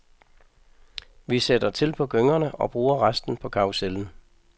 Vi sætter til på gyngerne og bruger resten på karrusellen.